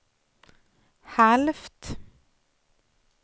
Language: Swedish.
halvt